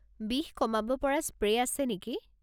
বিষ কমাব পৰা স্প্ৰে' আছে নেকি?